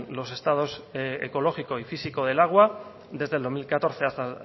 los estados ecológico y físico del agua desde el dos mil catorce hasta